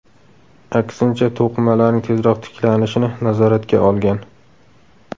Aksincha, to‘qimalarning tezroq tiklanishini nazoratga olgan.